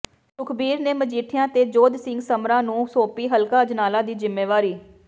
ਸੁਖਬੀਰ ਨੇ ਮਜੀਠੀਆ ਤੇ ਜੋਧ ਸਿੰਘ ਸਮਰਾ ਨੂੰ ਸੌਪੀ ਹਲਕਾ ਅਜਨਾਲਾ ਦੀ ਜਿਮੇਵਾਰੀ